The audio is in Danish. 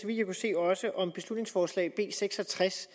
jeg kunne se også om beslutningsforslag nummer b seks og tres